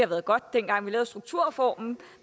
været godt dengang vi lavede strukturreformen